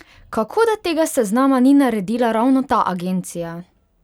Kako, da tega seznama ni naredila ravno ta agencija?